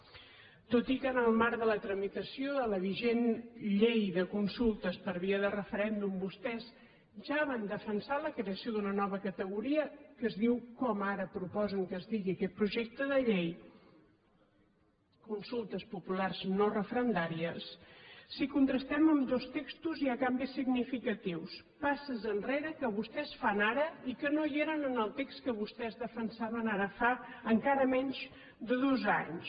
tot i que en el marc de la tramitació de la vigent llei de consultes per via de referèndum vostès ja van defensar la creació d’una nova categoria que es diu com ara proposen que es digui aquest projecte de llei consultes populars no referendàries si contrastem ambdós textos hi ha canvis significatius passes enrere que vostès fan ara i que no eren en el text que vostès defensaven ara fa encara menys de dos anys